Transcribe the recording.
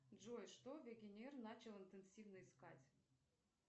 джой что вегенер начал интенсивно искать